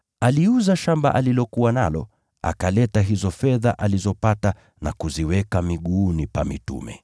aliuza shamba alilokuwa nalo, akaleta hizo fedha alizopata na kuziweka miguuni pa mitume.